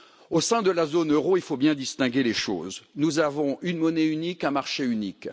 Au sein de la zone euro, il faut bien distinguer les choses nous avons une monnaie unique et un marché unique.